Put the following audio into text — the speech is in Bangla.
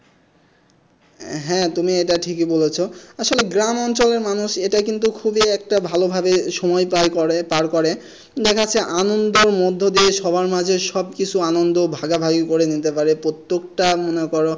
আহ হ্যাঁ তুমি এটা ঠিকই বলেছ আসলে গ্রাম অঞ্চলের মানুষ এটা কিন্তু খুবই একটা ভালোভাবে সময় পার করে পার করে দেখা যাচ্ছে আনন্দর মধ্য দিয়ে সবার মাঝে সবকিছু ভাগাভাগি করে নিতে পারে প্রত্যেকটা মনে করো,